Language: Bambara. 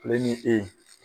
Ne ni e